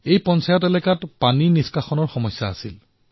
এই পঞ্চায়তৰ ক্ষেত্ৰখনত পানীৰ সমস্যা আছিল